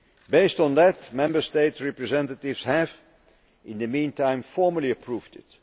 Based on that, Member State representatives have, in the meantime, formally approved it.